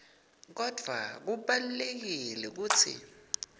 kodvwa kubalulekile kutsi